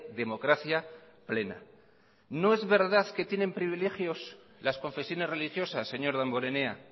democracia plena no es verdad que tienen privilegios las confesiones religiosas señor damborenea